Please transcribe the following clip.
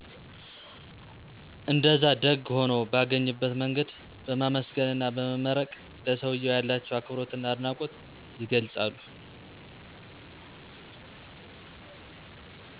እንደዛ ደግ ሁኖ ባገኝበት መንገድ በማመሰገን አና በመመረቅ ለሰውየው ያላቸው አክብሮትና አድናቆት የገልፃሉ።